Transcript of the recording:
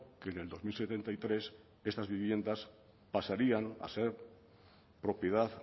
que en el dos mil setenta y tres estas viviendas pasarían a ser propiedad